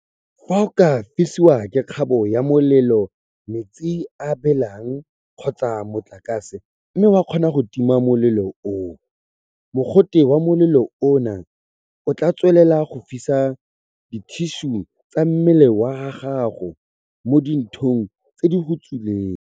Fa o ka fisiwa ke kgabo ya molelo, metsi a a belang kgotsa motlakase mme wa kgona go tima molelo oo, mogote wa molelo ona o tla tswelela go fisa dithišu tsa mmele wa gago mo di nthong tse di go tswileng.